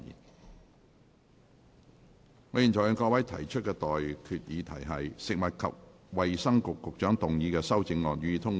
我現在向各位提出的待決議題是：食物及衞生局局長動議的修正案，予以通過。